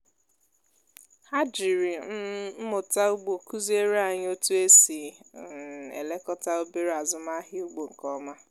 ha jiri um mmụta ugbo kụziere anyị otú e si um elekọta obere azụmahịa ugbo nke ọma